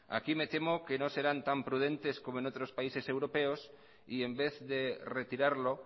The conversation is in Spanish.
aquí me temo que no serán tan prudentes como en otros países europeos y en vez de retirarlo